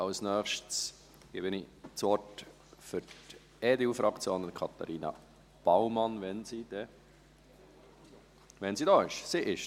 Als Nächstes gebe ich Katharina Baumann für die EDUFraktion das Wort, wenn sie hier ist.